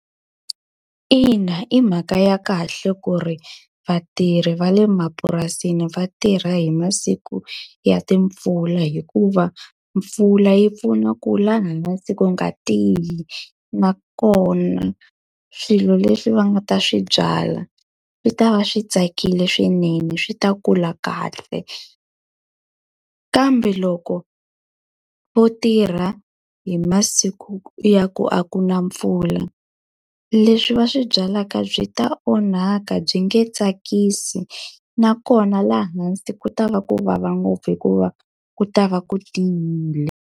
Ina i mhaka ya kahle ku ri vatirhi va le mapurasini va tirha hi masiku ya timpfula hikuva, mpfula yi pfuna ku laha hansi ku nga tiyi. Nakona swilo leswi va nga ta swi byala swi ta va swi tsakile swinene, swi ta kula kahle. Kambe loko vo tirha hi masiku ya ku a ku na mpfula, leswi va swi byalaka byi ta onhaka byi nge tsakisi, nakona laha hansi ku ta va ku vava ngopfu hikuva ku ta va ku tiyile.